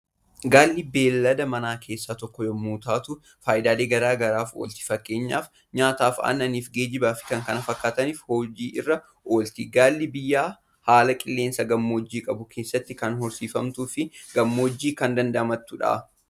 Gaalli beellada manaa keessaa tokko yommuu taatu, faayidaalee gara garaaf oolti. Fakkeenyaaf: nyaataaf, aannaniif, geejjibaa fi kan kana fakkaataniif hojiirra oolti. Gaalli biyya haala qilleensaa gammoojjii qabu keessatti kan horsiifamtu fi gammoojjummaa kan damdamattudha.